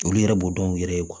Olu yɛrɛ b'o dɔn u yɛrɛ ye